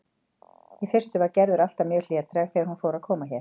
Í fyrstu var Gerður alltaf mjög hlédræg þegar hún fór að koma hér.